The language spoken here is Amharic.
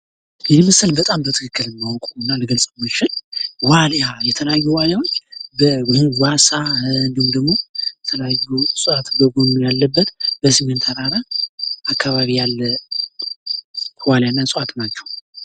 ይህ ምስል በጣም በትክክል የማውቀውና ልገልፀው የምችል ዋልያ የተለያዩ ዌልያዎች በጓሳ እንዲሁም ደሞ የተለያዩ እፅዋት በጎኑ ያለበት በሰሜን ተራራ አካባቢ ያለ ዋልያና እፅዋት ናቸው።